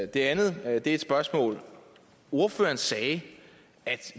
det andet er et spørgsmål ordføreren sagde at